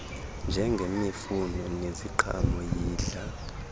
njengemifuno neziqhamo yidla